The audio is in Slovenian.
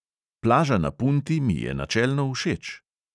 Plaža na punti mi je načelno všeč.